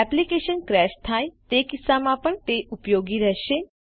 application crash થાય તે કિસ્સામાં પણ તે ઉપયોગી રહેશે